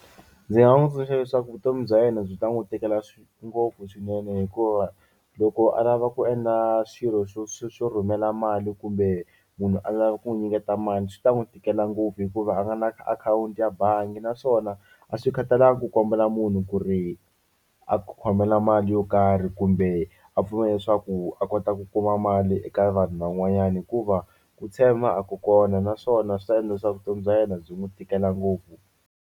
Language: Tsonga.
Ndzi nga n'wi tsundzuxa leswaku vutomi bya yena byi ta n'wi tikela swi ngopfu swinene hikuva loko a lava ku endla swilo swo swo swo rhumela mali kumbe munhu a lava ku n'wi nyiketa mali swi ta n'wi tikela ngopfu hikuva a nga na akhawunti ya bangi naswona a swi khataleki ku kombela munhu ku ri a ku khomela mali yo karhi kumbe a pfumela leswaku a kota ku kuma mali eka vanhu van'wanyana hikuva ku tshemba a ku kona naswona swi ta endla leswaku vutomi bya yena byi n'wi tikela ngopfu.